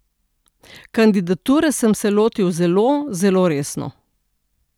Kandidature sem se lotil zelo, zelo resno.